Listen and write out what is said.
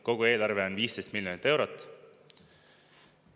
Kogu eelarve on 15 miljonit eurot.